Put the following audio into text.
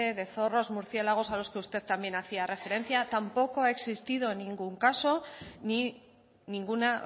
de zorros murciélagos a los que usted también hacía referencia tampoco ha existido ningún caso ni ninguna